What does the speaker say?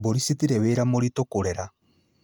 Mbũri citirĩ wĩra mũritũ kũrera